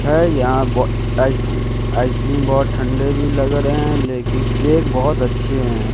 हैं यहां ब आइस आइसक्रीम बहोत ठंडे भी लग रहे हैं लेकिन केक बहोत अच्छे हैं।